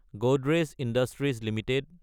Godrej industries Ltd